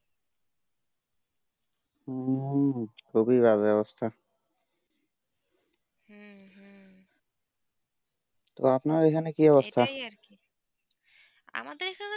হম খুবই বাজে অবস্থা হম হম তো আপনার এখানে কি অবস্থা এইটা ই আরকি আমাদের এখানে